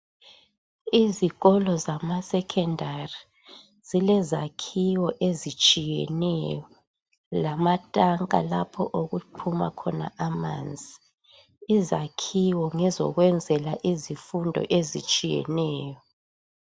Izikolo zamasekendari zile zakhiwo ezitshiyeneyo lamatanka lapho okuphuma khona amanzi. Izakhiwo ngezokwenzela izifundo ezitshiyeneyo.